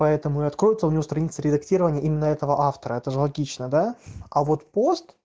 поэтому и откроется у него страница редактирования именно этого автора это же логично да а вот пост